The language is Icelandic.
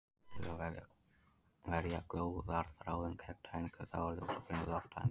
Til að verja glóðarþráðinn gegn tæringu þá er ljósaperan lofttæmd.